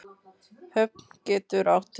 Höfn getur átt við